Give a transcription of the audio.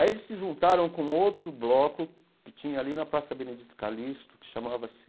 Aí eles se juntaram com outro bloco que tinha ali na Praça Benedito Calixto, que chamava-se